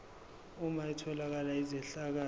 uma etholakala izehlakalo